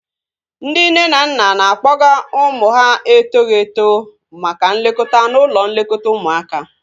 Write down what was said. Ndị nne na nna na-akpọga ụmụ ha etoghi eto maka nlekọta n'ụlọ nlekọta ụmụaka